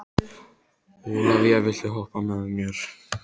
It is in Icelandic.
Ólavía, viltu hoppa með mér?